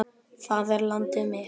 Það er landið mitt!